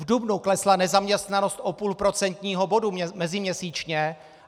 V dubnu klesla nezaměstnanost o půl procentního bodu meziměsíčně.